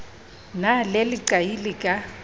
na le leqai le ka